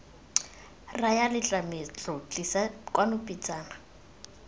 raya letlametlo tlisa kwano pitsana